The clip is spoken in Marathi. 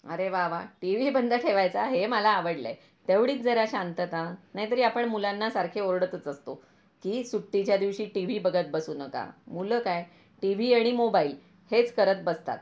अरे वा वा टीव्ही बंद ठेवायचा आहे हे मला आवडल आहे.. तेवढीच जरा शांतता नाही तरी आपण मुलांना सारखे ओरडतच असतो कि सुट्टीच्या दिवशी टीव्ही बघत बसू नका मुलं काय टीव्ही आणि मोबाईल हेच करत बसतात